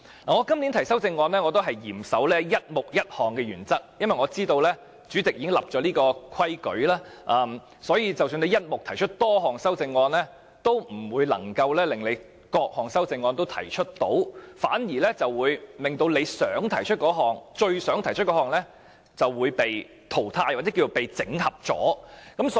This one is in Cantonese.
我今年提出的修正案也嚴守"一目一項"的原則，因為我知道主席已經訂立規矩，即使"一目"提出多項修正案，也不是各項修正案也能夠提出，反而令到最想提出的修正案被整合。